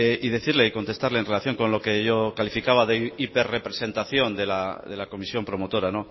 y decirle y contestarle en relación con lo que yo calificaba de hiper representación de la comisión promotora